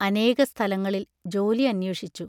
അനേകസ്ഥലങ്ങളിൽ ജോലി അന്വേഷിച്ചു.